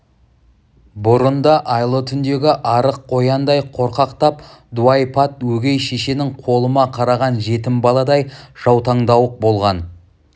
бұрын да айлы түндегі арық қояндай қорқақтап дуайпат өгей шешенің қолыма қараған жетім баладай жаутаңдауық болған